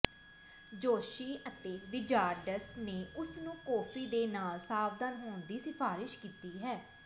ਜੋਤਸ਼ੀ ਅਤੇ ਵਿਜ਼ਾਰਡਸ ਨੇ ਉਸ ਨੂੰ ਕਾਫ਼ੀ ਦੇ ਨਾਲ ਸਾਵਧਾਨ ਹੋਣ ਦੀ ਸਿਫਾਰਸ਼ ਕੀਤੀ ਹੈ